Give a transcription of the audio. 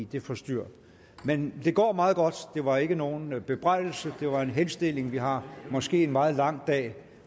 det forstyrrer men det går meget godt det var ikke nogen bebrejdelse det var en henstilling vi har måske en meget lang dag